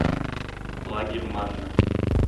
лагерь манна